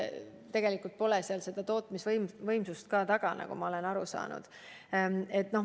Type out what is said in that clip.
Tegelikult pole seal tootmisvõimsust taga, nagu ma olen aru saanud.